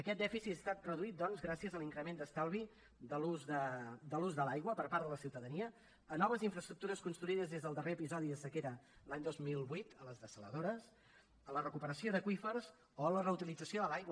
aquest dèficit ha estat reduït doncs gràcies a l’increment d’estalvi de l’ús de l’aigua per part de la ciutadania a noves infraestructures construïdes des del darrer episodi de sequera l’any dos mil vuit a les dessaladores a la recuperació d’aqüífers o a la reutilització de l’aigua